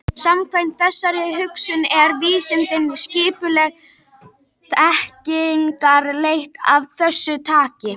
Samkvæmt þessari hugsun eru vísindin skipuleg þekkingarleit af þessu tagi.